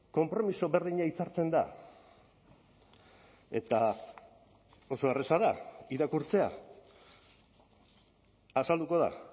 konpromiso berdina hitzartzen da eta oso erreza da irakurtzea azalduko da